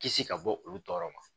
Kisi ka bɔ olu tɔɔrɔ ma